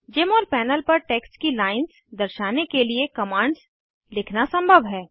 जमोल panel पर text की lines दर्शाने के लिए कमांड्स लिखना संभव है